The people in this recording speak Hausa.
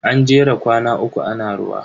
An jera kwana uku ana ruwa.